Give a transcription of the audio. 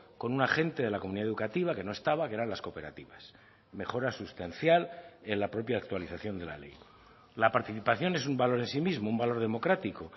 con un agente de la comunidad educativa que no estaba que eran las cooperativas mejora sustancial en la propia actualización de la ley la participación es un valor en sí mismo un valor democrático